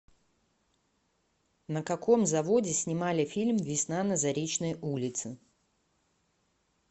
на каком заводе снимали фильм весна на заречной улице